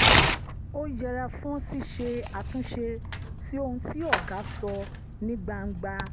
ó yẹra fún ṣíṣe àtúnṣe sí ohun tí ọ̀gá sọ ní gbangba